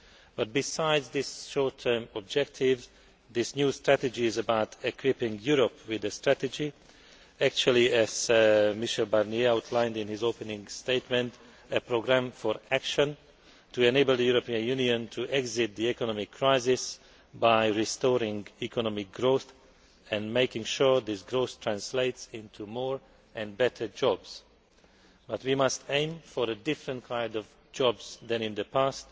But besides this short term objective, this new strategy is about equipping Europe with a strategy actually, as Michel Barnier outlined in his opening statement, a programme for action to enable the European Union to exit the economic crisis by restoring economic growth and making sure this growth translates into more and better jobs. But we must aim for a different kind of job creation than in the past